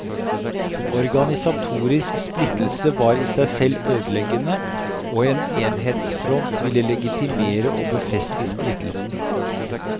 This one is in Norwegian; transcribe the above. Organisatorisk splittelse var i seg selv ødeleggende, og en enhetsfront ville legitimere og befeste splittelsen.